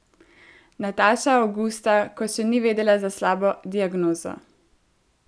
Nataša avgusta, ko še ni vedela za slabo diagnozo.